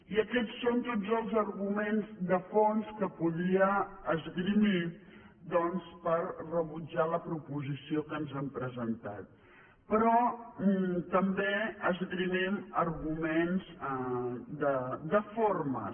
i aquests són tots els arguments de fons que podia esgrimir doncs per rebutjar la proposició que ens han presentat però també esgrimim arguments de formes